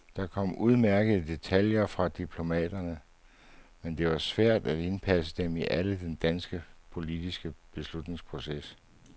Der kom udmærkede detaljer fra diplomaterne, men det var svært at indpasse dem alle i den danske politiske beslutningsproces.